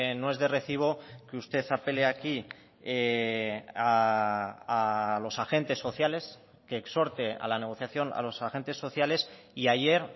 no es de recibo que usted apele aquí a los agentes sociales que exhorte a la negociación a los agentes sociales y ayer